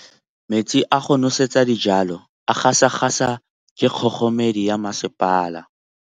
Metsi a go nosetsa dijalo a gasa gasa ke kgogomedi ya masepala.